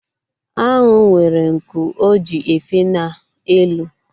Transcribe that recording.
Anwụ nwere nku o ji efe n'elu